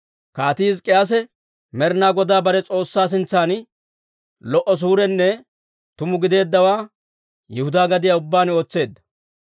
Kaatii Hizk'k'iyaase Med'inaa Godaa bare S'oossaa sintsan lo"o suurenne tuma gideeddawaa Yihudaa gadiyaa ubbaan ootseedda.